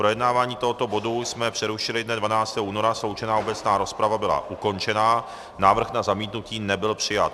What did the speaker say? Projednávání tohoto bodu jsme přerušili dne 12. února, sloučená obecná rozprava byla ukončena, návrh na zamítnutí nebyl přijat.